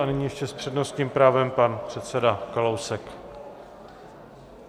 A nyní ještě s přednostním právem pan předseda Kalousek.